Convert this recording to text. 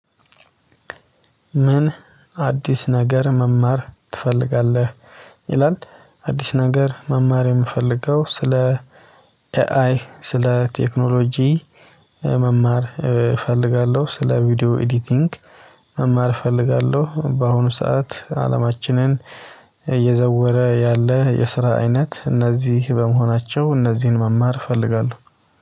"ምን አዲስ ነገር መማር ትፈልጋለህ?" ይላል፤ አዲስ ነገር መማር የምፈልገው ስለ ኤአይ ስለ ቴክኖሎጂ መማር እፈልጋለሁ። ስለ ቪዲዮ ኤዲቲንግ መማር እፈልጋለሁ። በአሁኑ ሰዓት አለማችንን እየዘወረ ያለ የስራ አይነት እነዚህ በመሆናቸው፤ እነዚህን መማር እፈልጋለሁ።